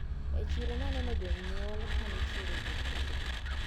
E chiro naneno jonyuol kanitiere gi nyithindgi.